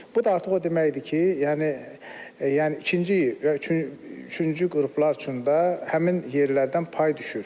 Bu da artıq o deməkdir ki, yəni yəni ikinci və üçüncü qruplar üçün də həmin yerlərdən pay düşür.